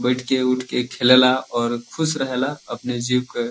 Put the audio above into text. बैठ के। उठ के। खेलेला और खुश रहे ला। अपने जीव के --